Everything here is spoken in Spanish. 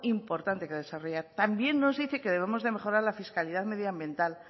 importante que desarrollar también nos dice que debemos mejorar la fiscalidad medioambiental